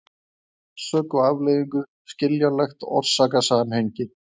orsök og afleiðingu, skiljanlegt orsakasamhengi.